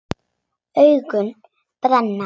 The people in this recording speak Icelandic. Augun brenna.